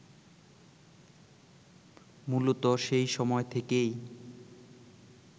মূলত সেই সময় থেকেই